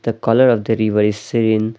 The colour of the river is sane.